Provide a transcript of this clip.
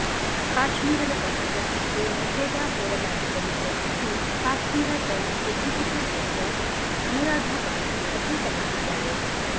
ಕಾಶ್ಮೀರದ ಪತ್ರಕರ್ತರಿಗೆ ನಿಷೇಧ ಹೇರಲಾಗಿದ್ದನ್ನು ಪ್ರಶ್ನಿಸಿ Kashmir Times executive editor Anuradha ಬಾಸಿ ಅರ್ಜಿ ಸಲ್ಲಿಸಿದ್ದಾರೆ